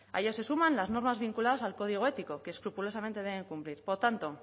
ella se suman las normas vinculadas al código ético que escrupulosamente deben cumplir por tanto